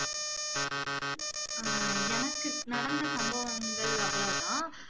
அஹ் எனக்கு நடந்த சம்பவங்கள் அவ்ளோ தான்